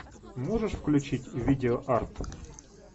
можешь включить видеоарт